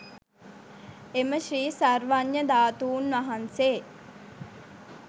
එම ශ්‍රී සර්වඥ ධාතුන් වහන්සේ